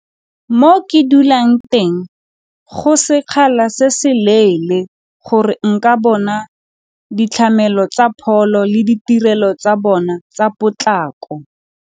Mo ke dulang teng go sekgala se seleele gore nka bona tsa pholo le ditirelo tsa bona tsa potlako.